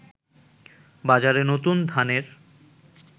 বাজারে নতুন ধানের